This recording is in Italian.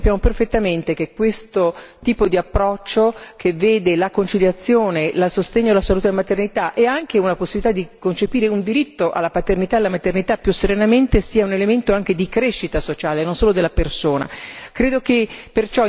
Io penso che noi sappiamo perfettamente che questo tipo di approccio, che vede la conciliazione e il sostegno alla salute della maternità e anche una possibilità di concepire un diritto alla paternità e alla maternità più serenamente, sia un elemento anche di crescita sociale e non solo della persona.